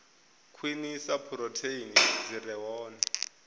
khwinisa phurotheini dzi re hone